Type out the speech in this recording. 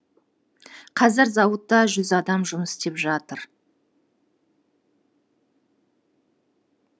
қазір зауытта жүз адам жұмыс істеп жатыр